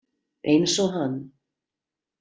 Eins og hann.